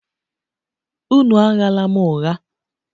Unu aghala m ụgha!